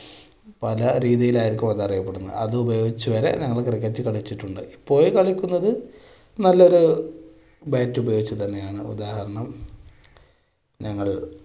പല രീതിയിലായിരിക്കും അത് അറിയപ്പെടുന്നത്. അത് ഉപയോഗിച്ച് വരെ ഞങ്ങൾ cricket കളിച്ചിട്ടുണ്ട്. കളിക്കുന്നത് നല്ലൊരു bat ഉപയോഗിച്ച് തന്നെയാണ്. ഉദാഹരണം ഞങ്ങള്